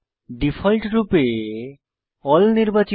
ডিফল্টরূপে এএলএল নির্বাচিত